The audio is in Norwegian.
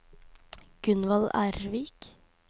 Gunvald Ervik